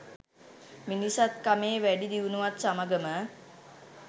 මිනිසත්කමේ වැඩි දියුණුවත් සමගම